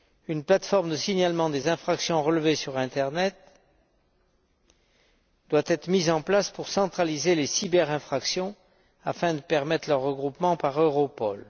Une plateforme de signalement des infractions relevées sur Internet doit être mise en place pour centraliser les cyberinfractions afin de permettre leur regroupement par Europol.